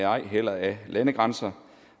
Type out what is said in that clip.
ej heller af landegrænser